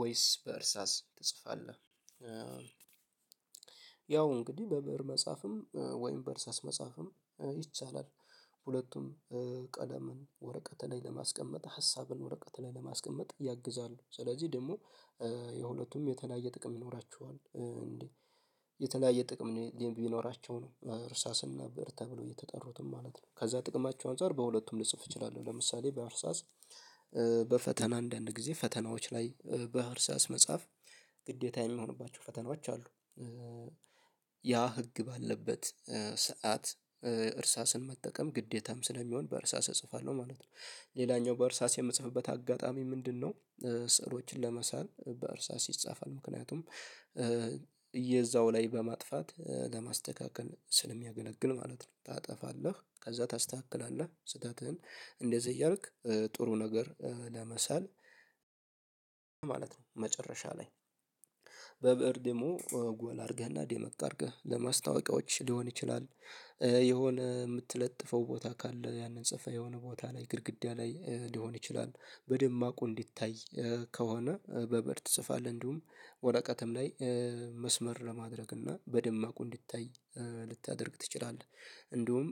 ወይስ በእርሳስ ትጽፋለህ ያው እንግዲህ በብእር መጻፍም ወይም በእርስ መጻፍም ይቻላል ሁለቱም ቀለምን ወረቀት ላይ ለማስቀመጥ ሀሳብን ወረቀት ላይ ለማስቀመጥ ያግዛሉ ስለዚህ ደግሞ የሁለቱም የተለያየ ጥቅም ይኖሯቸዋል እንዴ? የተለያየ ጥቅም ቢኖራቸው ነው እርሳስ እና ብእር ተብለው የተጠሩትም ማለት ነው። ከዛ ጥቅማቸው አንፃር በሁለቱም ልጽፍ እችላለሁ ለምሳሌ በእርሳስ በፈተና አንዳንድ ጊዜ ፈተናዎች ላይ በእርሳስ መጽሐፍ ግዴታ የሚሆንባቸው ፈተናዎች አሉ። ያ ህግ ባለበት ሰዓት እርሳስን መጠቀም ግዴታም ስለሚሆን በእርሳስ እጽፋለሁ ማለት ነው። ሌላኛው በእርሳስ የምጽፍበት አጋጣሚ ምንድነው? ስዕሎችን ለመሳል በእርሳስ ይጻፋል ምክንያቱም እየዛው ላይ በማጥፋት ለማስተካከል ስለሚያገለግል ማለት ነው። ታጠፋለህ ከዛ ታስተካክላለህ ስህተትህን እንደዚህ እያልክ ጥሩ ነገር ለመሳል ማለት ነው። መጨረሻ ላይ በብእር ደግሞ ጎላ አድርገህና ደመቅ አድርገህ ለማስታወቂያዎች ሊሆን ይችላል። የሆነ የምትለጥፈው ቦታ ካለ ያንን ጽፈህ የሆነ ቦታ ላይ ግድግዳ ላይ ሊሆን ይችላል። በደማቁ እንዲታይ ከሆነ በበር ትጽፋለህ እንዲሁም ወረቀትም ላይ መስመር ለማድረግ እና በደማቁ እንዲታይ ልታደርግ ትችላለህ። እንደውም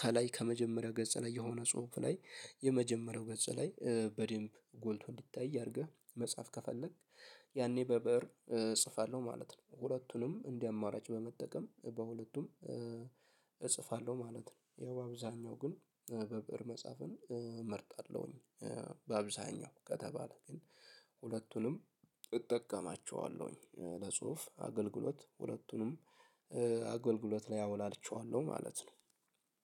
ከላይ ከመጀመሪያ ገጽ ላይ የሆነ ጽሁፍ ላይ የመጀመሪያው ገጽ ላይ በደንብ ጎልቶ እንዲታይ አድርገህ መጽሐፍ ከፈለክ ያኔ በብእር እጽፋለሁ ማለት ነው። ሁለቱንም እንደ አማራጭ በመጠቀም በሁለቱም እጽፋለሁ ማለት ነው። ያው አብዛኛው ግን በብእር መጽሐፍን እመርጣለሁኝ። በአብዛኛው ከተባለ ግን ሁለቱንም እጠቀማቸዋለሁኝ ለጽሁፍ አገልግሎት ሁለቱንም አገልግሎት ላይ አውላቸዋለሁ ማለት ነው።